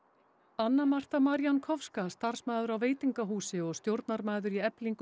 anna Marta Marjankowska starfsmaður á veitingahúsi og stjórnarmaður í Eflingu